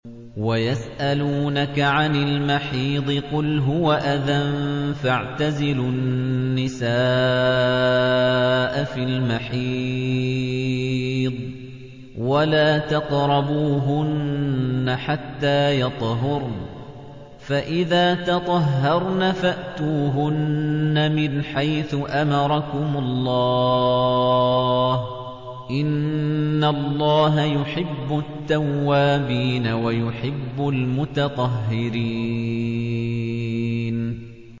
وَيَسْأَلُونَكَ عَنِ الْمَحِيضِ ۖ قُلْ هُوَ أَذًى فَاعْتَزِلُوا النِّسَاءَ فِي الْمَحِيضِ ۖ وَلَا تَقْرَبُوهُنَّ حَتَّىٰ يَطْهُرْنَ ۖ فَإِذَا تَطَهَّرْنَ فَأْتُوهُنَّ مِنْ حَيْثُ أَمَرَكُمُ اللَّهُ ۚ إِنَّ اللَّهَ يُحِبُّ التَّوَّابِينَ وَيُحِبُّ الْمُتَطَهِّرِينَ